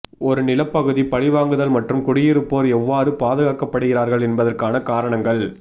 ஒரு நிலப்பகுதி பழிவாங்குதல் மற்றும் குடியிருப்போர் எவ்வாறு பாதுகாக்கப்படுகிறார்கள் என்பதற்கான காரணங்கள்